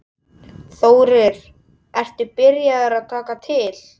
Þórir: Ertu byrjaður að taka til?